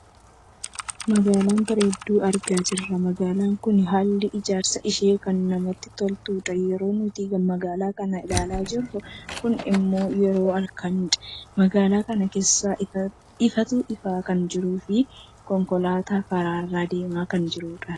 Magaalaa bareedduu argaa jirra. Magaalaan kun haalli ijaarsa ishee kan namatti toltudha. Yeroon nuti magaalaa kana ilaalaa jirru kun ammoo yeroo halkanidha. Magaalaa kana keessaa ifaatu ifaa kan jiruu fi konkolaataan karaarra deemaa kan jirudha.